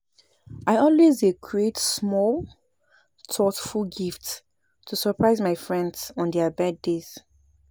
I always dey create small thoughful gifts to surpise my friends during thier birthday